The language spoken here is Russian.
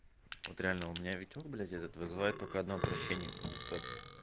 вот реально у меня витёк блять этот вызывает только одно отвращение потому что